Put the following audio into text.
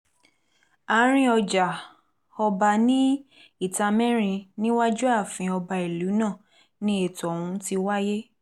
àárín ọjà-ọba ní ìtàmẹ́rin níwájú ààfin ọba ìlú náà ni ètò ọ̀hún ti wáyé